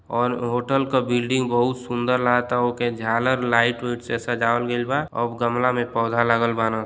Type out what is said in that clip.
और होटल का बिल्डिंग बहुत सुंदर लागताओके झालर लाइट व्याइट से सजावल गईलबा और गमला मे पोधा लागल बान --